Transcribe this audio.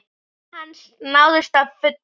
Markmið hans náðust að fullu.